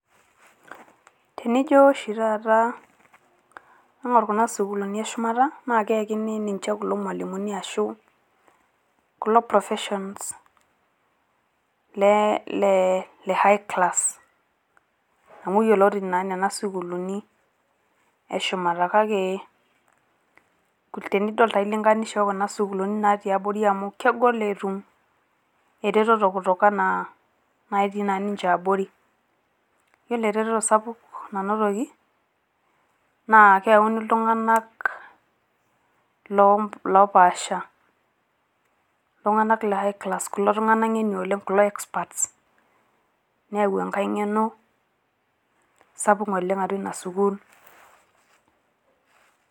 Tinijo oshi taata ama kuna sukuulini e shumata naa keyakini ninche kulo mwalimuni ashu kulo professionals le le high class amu yioloti naa nena sukuulini eshumata kake tenidol taa ailinganisha okuna sukuulini natii abori amu kegol etum ereteto kutokana naa ketii naa niche abori. yiolo ereteto sapuk nanotoki naa keuni iltunganak loopaasha ,iltunganak le high class kulo tunganak nge`ni oleng kulo experts neyau enkae ngeno sapuk atua ina sukuul .